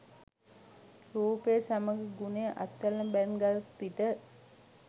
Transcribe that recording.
රූපය සමඟ ගුණය අත්වැල් බැඳ ගත් විට